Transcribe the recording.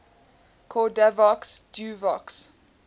cordavox duovox